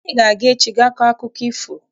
Anyị ga-aga echi ga kọọ akụkọ ifo.